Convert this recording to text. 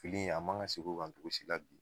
Fili in a man gan seg'o kan togosi la bi